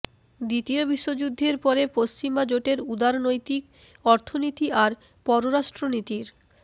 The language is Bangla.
দ্বিতীয় বিশ্বযুদ্ধের পরে পশ্চিমা জোটের উদারনৈতিক অর্থনীতি আর পররাষ্ট্রনীতির